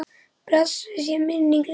Blessuð sé minning Lindu.